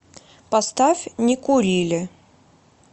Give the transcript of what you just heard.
поставь не курили